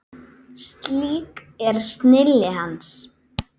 Slík er snilli hans.